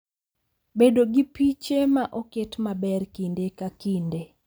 Bedo gi piche ma oket maber kinde ka kinde